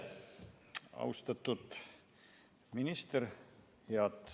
Austatud minister!